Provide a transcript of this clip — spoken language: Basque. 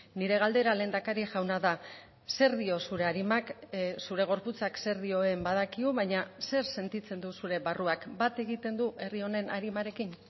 nire galdera lehendakari jauna da zer dio zure arimak zure gorputzak zer dioen badakigu baina zer sentitzen du zure barruak bat egiten du herri honen arimarekin